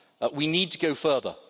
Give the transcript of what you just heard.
we need to go further.